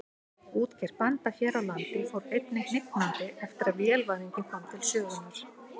Útgerð bænda hér á landi fór einnig hnignandi eftir að vélvæðingin kom til sögunnar.